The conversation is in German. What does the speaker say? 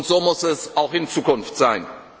Und so muss es auch in Zukunft